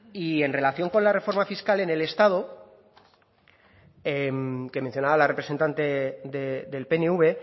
y en relación con la reforma fiscal en el estado que mencionaba la representante del pnv